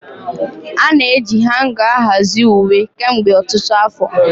Ana-eji hanga ahazie uwe kemgbe ọtụtụ afọ.